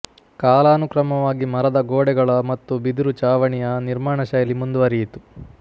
ಕಾಲಾನುಕ್ರಮವಾಗಿ ಮರದ ಗೋಡೆಗಳ ಮತ್ತು ಬಿದಿರು ಚಾವಣಿಯ ನಿರ್ಮಾಣಶೈಲಿ ಮುಂದುವರಿಯಿತು